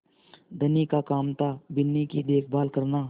धनी का काम थाबिन्नी की देखभाल करना